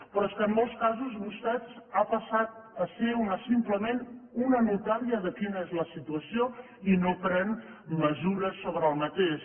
però és que en molts casos vostè ha passat a ser simplement una notària de quina és la situació i no pren mesures sobre això